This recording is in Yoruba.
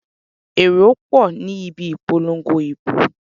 Èrò pọ̀ ní ibi ìpolongo ìbò.